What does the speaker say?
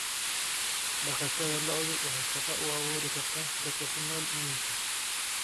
Dhaqashada lo'du waxay shaqo u abuuri kartaa dadka ku nool miyiga.